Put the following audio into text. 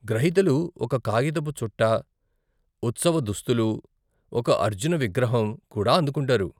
గ్రహీతలు ఒక కాగితపు చుట్ట, ఉత్సవ దుస్తులు, ఒక అర్జున విగ్రహం కూడా అందుకుంటారు.